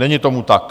Není tomu tak.